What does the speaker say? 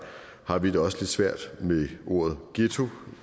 har vi det også lidt svært med ordet ghetto